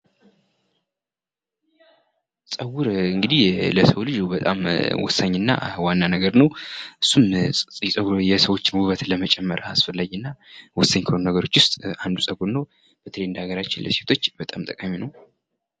ጸጉር እንግዲህ ለሰው ልጅ ወሳኝ እና ዋና ነገር ነው እሱም የጸጉር የሰዎችን ዉበት ለመጨመር አስፈላጊ እና ወሳኝ ከሆኑ ነገሮች ዉስጥ አንዱ ጸጉር ጸጉር ነው በተለይም በሃገራችን ለሴቶች በጣም ጠቃሚ ነው።